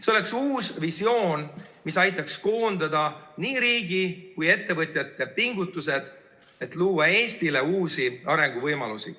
See oleks uus visioon, mis aitaks koondada nii riigi kui ka ettevõtjate pingutused, et luua Eestile uusi arenguvõimalusi.